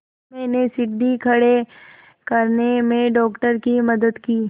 मैंने सीढ़ी खड़े करने में डॉक्टर की मदद की